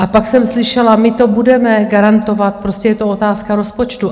A pak jsem slyšela: My to budeme garantovat, prostě je to otázka rozpočtu.